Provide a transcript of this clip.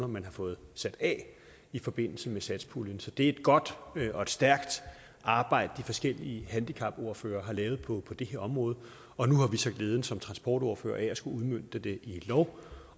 man har fået sat af i forbindelse med satspuljen så det er godt og stærkt arbejde de forskellige handicapordførere har lavet på det her område og nu har vi så glæden som transportordførere af at skulle udmønte det i lov